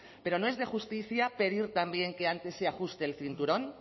pero no es de justicia pedir también que antes se ajuste el cinturón